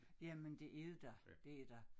Jamen det er det da det er da